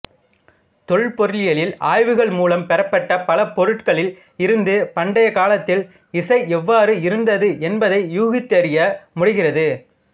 தொல்பொருளியல் ஆய்வுகள் மூலம் பெறப்பட்ட பல பொருட்களில் இருந்து பண்டைய காலத்தில் இசை எவ்வாறு இருந்தது என்பதை ஊகித்தறிய முடிகிறது